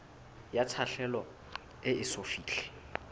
ya tlhaselo e eso fihle